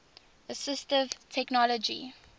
assistive technology